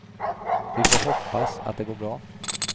Vi får hoppas att det går bra.